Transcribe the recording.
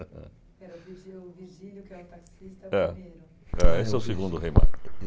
Pera o virgi o virgílio que é o taxista ãh que é o primeiro? Esse é o segundo Rei Mago.